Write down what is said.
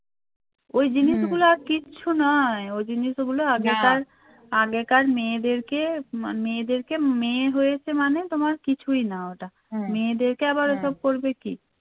ওই জিনিসগুলা কিচ্ছু নাই ওই জিনিস ওগুলো আগেকার আগেকার মেয়েদেরকে মেয়েদেরকে মেয়ে হয়েছে মানে তোমার কিছুই না ওটা হ্যাঁ মেয়েদেরকে আবার ওসব করবে কি